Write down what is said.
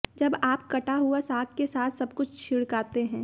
जब आप कटा हुआ साग के साथ सब कुछ छिड़काते हैं